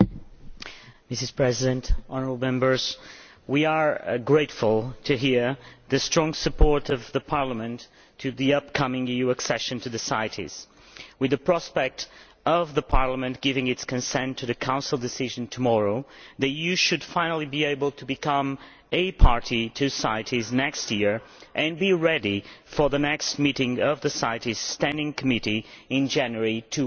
Madam President, honourable Members, we are grateful to hear the strong support of Parliament for the upcoming EU accession to CITES. With the prospect of Parliament giving its consent to the Council decision tomorrow the EU should finally be able to become a party to CITES next year and be ready for the next meeting of the CITES Standing Committee in January 2016